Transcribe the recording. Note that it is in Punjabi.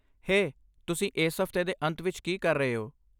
ਹੇ, ਤੁਸੀਂ ਇਸ ਹਫ਼ਤੇ ਦੇ ਅੰਤ ਵਿੱਚ ਕੀ ਕਰ ਰਹੇ ਹੋ?